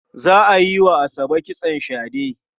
Za a yi wa Asabe kitson shade.